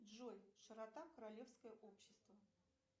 джой широта королевское общество